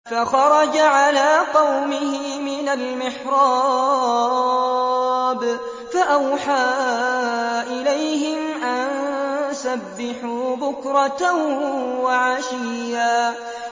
فَخَرَجَ عَلَىٰ قَوْمِهِ مِنَ الْمِحْرَابِ فَأَوْحَىٰ إِلَيْهِمْ أَن سَبِّحُوا بُكْرَةً وَعَشِيًّا